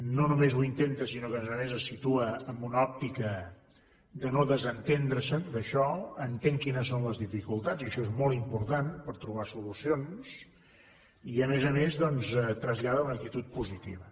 no només ho intenta sinó que a més a més es situa en una òptica de no desentendre se’n d’això entén quines són les dificultats i això és molt important per trobar solucions i a més a més doncs trasllada una actitud positiva